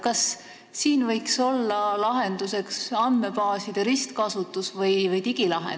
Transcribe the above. Kas siin võiks olla lahenduseks andmebaaside ristkasutus või digilahendus?